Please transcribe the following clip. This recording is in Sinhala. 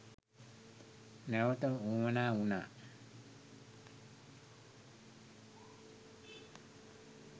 නැවත වුවමනා වුණා.